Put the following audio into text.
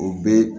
O bɛɛ